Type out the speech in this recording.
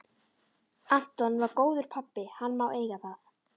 Anton var góður pabbi, hann má eiga það.